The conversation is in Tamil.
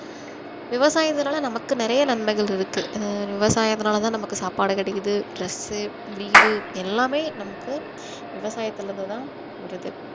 விவசாயத்துனால நமக்கு நிறைய நன்மைகள் இருக்கு அஹ் விவசாயத்துனால நமக்கு சாப்பாடு கிடைக்குது dress உ வீடு எல்லாமே நமக்கு விவசாயத்தில இருந்து தான் வருது